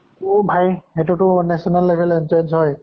অ ভাই সেইতো টো national level ৰ entrance হয়।